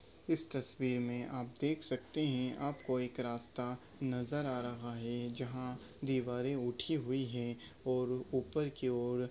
इस तस्वीर मे आप देख सकते है आपको एक रास्ता नजर आ रहा है जहा दिवारे उठी हुई है और ऊपर की ओर--